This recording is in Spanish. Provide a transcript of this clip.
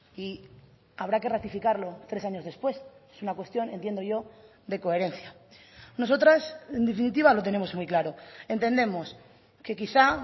y habrá que ratificarlo tres años después es una cuestión entiendo yo de coherencia nosotras en definitiva lo tenemos muy claro entendemos que quizá